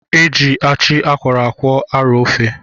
Eji achị akwọrọ akwọ arọ ofe.